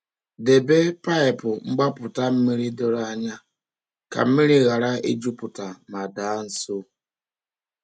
Debe paịpụ mgbapụta mmiri doro anya ka mmiri ghara ịjupụta ma daa nsọ.